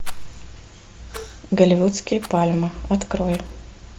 голливудские пальмы открой